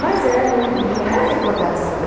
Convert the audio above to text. Mas é não não era recordação.